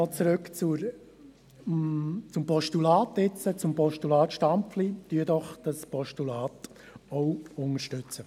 Nochmals zurück zum Postulat, jetzt zum Postulat Stampfli : Unterstützen Sie dieses Postulat doch auch.